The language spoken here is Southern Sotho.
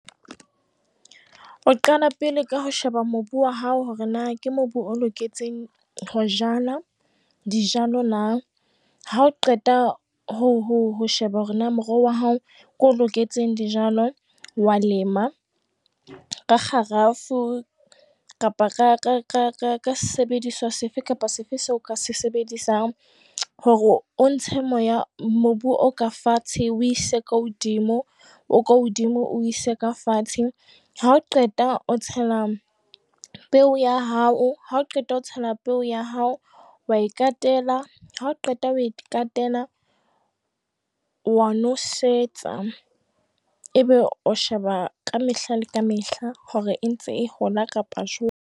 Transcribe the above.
O qala pele ka ho sheba mobu wa hao hore na ke mobu o loketseng ho jala dijalo na, ha o qeta ho sheba hore na moroho wa hao ke o loketseng dijalo, wa lema ka kgarafu kapa ka sebediswa se fe kapa se fe seo o ka se sebedisang hore o ntshe moya mobu o ka fatshe o o ise ko hodimo, o ka hodimo o o ise ka fatshe. Ha o qeta, o tshela peo ya hao, ha o qeta ho tshela peo ya hao wa e katela, ha o qeta ho e katela, wa nosetsa ebe o sheba ka mehla le ka mehla hore e ntse e hola kapa jwang.